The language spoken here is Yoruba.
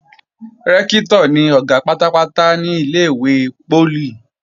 Rẹ́ktọ̀ ni Ọ̀gá pátápátá ní ilé-ìwé poli